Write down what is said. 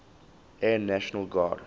air national guard